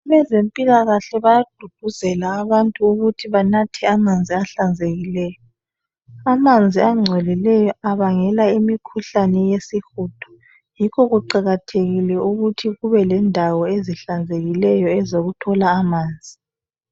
abezempilakhle bayagqugquzela abantu ukuthi banathe amanzi ahlanzekileyo amanzi angcolileyo abangela imikhuhlane yesihudo yikho kuqakathekile ukuthi kubelendawo ezihlanzekileyo ezokuthola amanzi